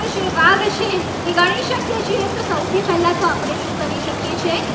સૌથી પહેલા તો આપડે શું કરીશકીએ છીએ?